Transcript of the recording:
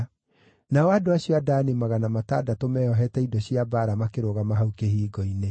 Nao andũ acio a Dani magana matandatũ meeohete indo cia mbaara makĩrũgama hau kĩhingo-inĩ.